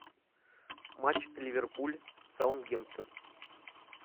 матч ливерпуль саутгемптон